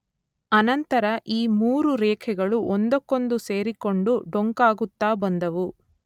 ಅನಂತರ ಈ ಮೂರು ರೇಖೆಗಳೂ ಒಂದಕ್ಕೊಂದು ಸೇರಿಕೊಂಡು ಡೊಂಕಾಗುತ್ತಾ ಬಂದವು.